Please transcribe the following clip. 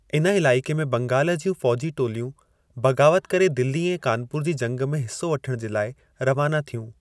इन इलाइके़ में बंगाल जी फ़ौजी टोलियूं बग़ावत करे दिल्ली ऐं कानपुर जी जंग में हिस्सो वठण जे लाइ रवानो थियूं ।